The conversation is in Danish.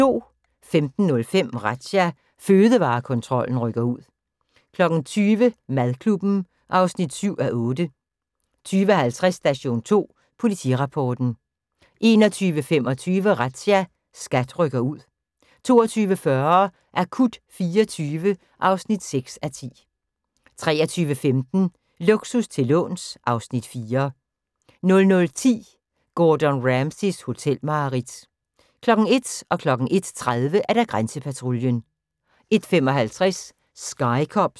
15:05: Razzia – Fødevarekontrollen rykker ud 20:00: Madklubben (7:8) 20:50: Station 2 Politirapporten 21:25: Razzia – SKAT rykker ud 22:40: Akut 24 (6:10) 23:15: Luksus til låns (Afs. 4) 00:10: Gordon Ramsays hotelmareridt 01:00: Grænsepatruljen 01:30: Grænsepatruljen 01:55: Sky Cops